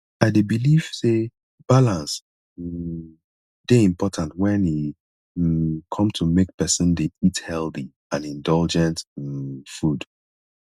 i dey believe say balance um dey important when e um come to make pesin dey eat healthy and indulgent um food